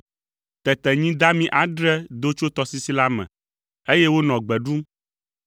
Tete nyi dami adre do tso tɔsisi la me, eye wonɔ gbe ɖum.